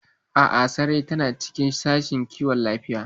A'a, Sarai tana cikin Sashen Kiwon Lafiya.